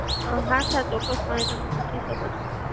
અમ હા સાહેબ એ ચોક્કસપણ તમે પૂછી શકો છો.